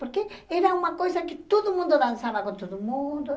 Porque era uma coisa que todo mundo dançava com todo mundo.